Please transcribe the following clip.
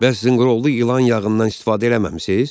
Bəs zınqırovlu ilan yağından istifadə eləməmisiz?